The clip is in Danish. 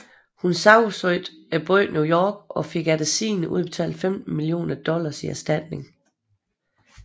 Hun sagsøgte byen New York og fik efter sigende udbetalt 15 millioner dollars i erstatning